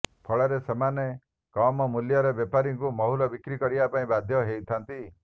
ଫଳରେ ସେମାନେ କମ୍ମୂଲ୍ୟରେ ବେପାରୀଙ୍କୁ ମହୁଲ ବିକ୍ରି କରିବା ପାଇଁ ବାଧ୍ୟ ହୋଇଥାନ୍ତି